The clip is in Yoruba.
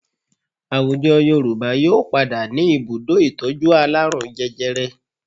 Àwùjọ Yorùbá yóò padà ní ibùdó ìtọ́jú alárùn jẹjẹrẹ